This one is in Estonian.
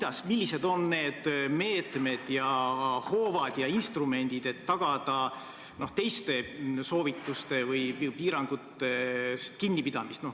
Aga millised on need meetmed ja hoovad ja instrumendid, et tagada teistest soovitustest või piirangutest kinnipidamine?